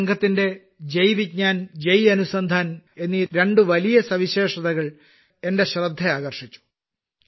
ഈ സംഘത്തിന്റെ ജയ് വിജ്ഞാൻ ജയ് അനുസന്ധാൻ എന്നീ രണ്ട് വലിയ വിശേഷതകൾ എന്റെ ശ്രദ്ധ ആകർഷിച്ചു